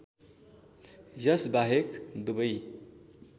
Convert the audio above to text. यस बाहेक दुबै